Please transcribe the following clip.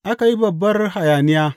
Aka yi babbar hayaniya.